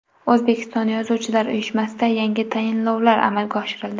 O‘zbekiston yozuvchilar uyushmasida yangi tayinlovlar amalga oshirildi.